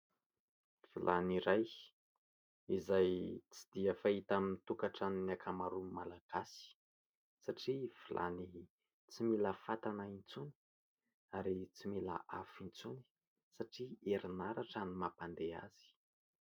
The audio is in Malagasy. Vilany iray izay tsy dia fahita amin'ny tokantranon'ny ankamaron'ny malagasy satria vilany tsy mila fatana intsony ary tsy mila afo intsony satria herinaratra ny mampandeha azy.